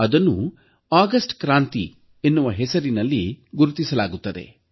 ಅದನ್ನು ಅಗಸ್ಟ್ ಕ್ರಾಂತಿಯ ಹೆಸರಿನಲ್ಲಿ ಗುರುತಿಸಲಾಗುತ್ತದೆ